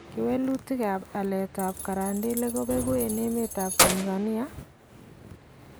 Kewelutikap aletap karandelek kopeku eng' emetap Tanzania?